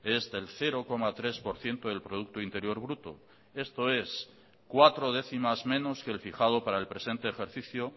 es del cero coma tres por ciento del producto interior bruto esto es cuatro décimas menos que el fijado para el presente ejercicio